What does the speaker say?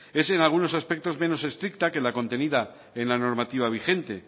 es en algunos aspectos menos estricta que la contenida en la normativa vigente